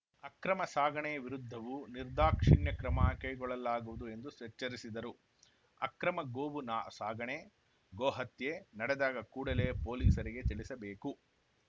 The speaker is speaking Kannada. ಅಕ್ರಮ ಸಾಗಣೆ ವಿರುದ್ಧವೂ ನಿರ್ದಾಕ್ಷಿಣ್ಯ ಕ್ರಮ ಕೈಗೊಳ್ಳಲಾಗುವುದು ಎಂದು ಸೆ ಎಚ್ಚರಿಸಿದರು ಅಕ್ರಮ ಗೋವು ನ ಸಾಗಣೆ ಗೋಹತ್ಯೆ ನಡೆದಾಗ ಕೂಡಲೇ ಪೊಲೀಸರಿಗೆ ತಿಳಿಸಬೇಕು